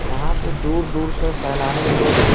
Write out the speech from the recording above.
यहाँ पे दूर-दूर से सैलानी लोग --